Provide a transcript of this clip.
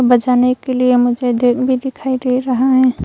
बजाने के लिए मुझे डेक भी दिखाई दे रहा है।